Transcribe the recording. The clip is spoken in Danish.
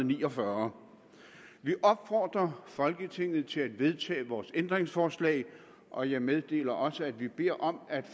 ni og fyrre vi opfordrer folketinget til at vedtage vores ændringsforslag og jeg meddeler også at vi beder om at